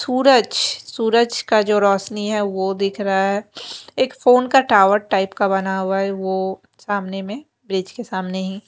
सूरज सूरज का जो रोशनी है वो दिख रहा है एक फोन का टावर टाइप का बना हुआ है वो सामने मे ब्रिज के सामने ही --